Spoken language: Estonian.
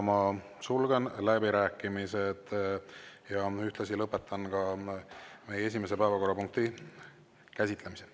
Ma sulgen läbirääkimised ja ühtlasi lõpetan meie esimese päevakorrapunkti käsitlemise.